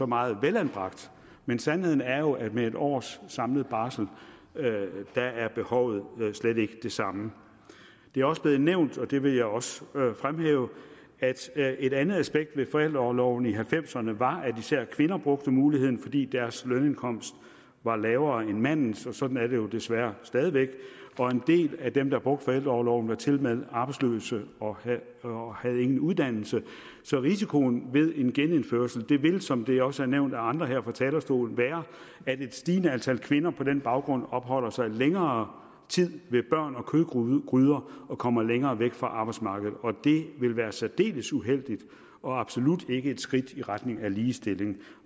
meget velanbragt men sandheden er jo at med en års samlet barsel er behovet slet ikke det samme det er også blevet nævnt og det vil jeg også fremhæve at et andet aspekt ved forældreorloven i nitten halvfemserne var at især kvinder brugte muligheden fordi deres lønindkomst var lavere end mandens sådan er det jo desværre stadig væk og en del af dem der brugte forældreorloven var tilmed arbejdsløse og og havde ingen uddannelse så risikoen ved en genindførelse vil som det også er nævnt af andre her fra talerstolen være at et stigende antal kvinder på den baggrund opholder sig længere tid ved børn og kødgryder og kommer længere væk fra arbejdsmarkedet og det vil være særdeles uheldigt og absolut ikke et skridt i retning af ligestilling